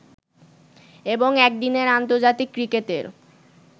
এবং একদিনের আন্তর্জাতিক ক্রিকেটের